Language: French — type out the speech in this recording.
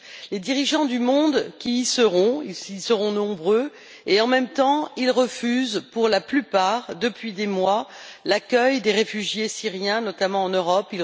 Les dirigeants du monde y seront nombreux et, en même temps, ils refusent, pour la plupart, depuis des mois, l'accueil des réfugiés syriens, notamment en Europe.